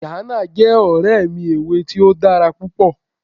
Diana jẹ́ ọ̀rẹ́ mi ẹ̀wé̀ tì o dára pupọ̀.